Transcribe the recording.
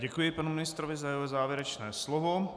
Děkuji panu ministrovi za jeho závěrečné slovo.